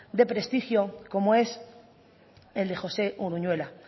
de prestigio como es el de josé uruñuela